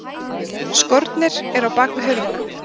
Skórnir eru á bakvið hurðina.